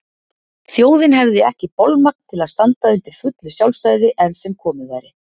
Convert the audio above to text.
Þjóðin hefði ekki bolmagn til að standa undir fullu sjálfstæði enn sem komið væri.